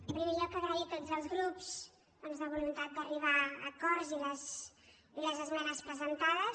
en primer lloc agrair a tots els grups doncs la voluntat d’arribar a acords i les esme·nes presentades